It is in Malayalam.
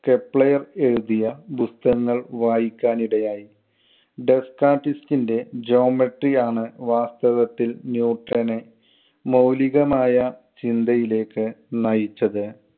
കെപ്ലെയർ എഴുതിയ പുസ്തകങ്ങൾ വായിക്കാൻ ഇടയായി. ഡെസ്റ്റാർട്ടിസ്റ്റിന്‍റെ geometry ആണ് വാസ്തവത്തിൽ ന്യൂട്ടനെ മൗലികമായ ചിന്തയിലേക്ക് നയിച്ചത്.